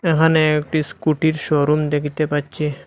এখানে একটি স্কুটির শোরুম দেখিতে পাচ্ছি।